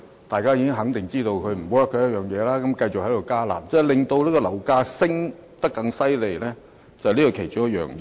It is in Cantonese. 大家肯定已知道"辣招"無效，但政府卻繼續"加辣"，這是令樓價升得更厲害的原因之一。